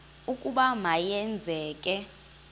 ukuba ma yenzeke